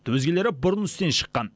өзгелері бұрын істен шыққан